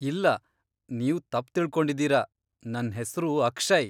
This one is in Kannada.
ಇಲ್ಲ, ನೀವ್ ತಪ್ಪ್ ತಿಳ್ಕೊಂಡಿದೀರ, ನನ್ ಹೆಸ್ರು ಅಕ್ಷಯ್.